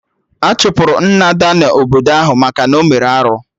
Achụpụrụ Nna Ada na obodo ahụ maka na ọ mere arụ